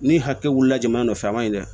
Ni hakili wulila jamana nɔfɛ a man ɲi dɛ